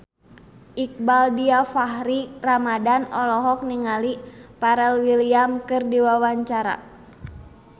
Iqbaal Dhiafakhri Ramadhan olohok ningali Pharrell Williams keur diwawancara